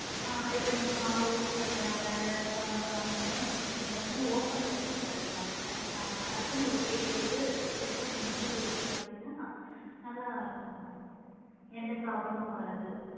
ஆ இப்ப நீங்க மாவு வேற குழம்பு அந்த மாதிரிலா வச்சிங்க அப்படின்னா open ல வைக்க கூடாது ma'am அதுக்குன்னு ஒரு plate போட்டு safe ஆ கொஞ்சம் மூடி வச்சிங்க அப்படின்னா, நல்லா இருக்கும் ma'am எந்த problem மும் வராது